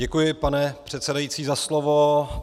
Děkuji, pane předsedající, za slovo.